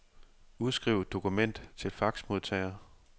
Udskriv dokument til faxmodtager.